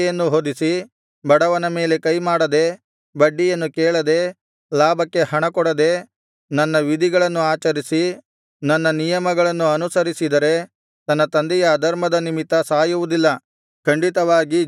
ಬಡವನ ಮೇಲೆ ಕೈಮಾಡದೆ ಬಡ್ಡಿಯನ್ನು ಕೇಳದೆ ಲಾಭಕ್ಕೆ ಹಣಕೊಡದೆ ನನ್ನ ವಿಧಿಗಳನ್ನು ಆಚರಿಸಿ ನನ್ನ ನಿಯಮಗಳನ್ನು ಅನುಸರಿಸಿದರೆ ತನ್ನ ತಂದೆಯ ಅಧರ್ಮದ ನಿಮಿತ್ತ ಸಾಯುವುದಿಲ್ಲ ಖಂಡಿತವಾಗಿ ಜೀವಿಸುವನು